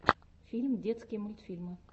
фильм детские мультьфильмы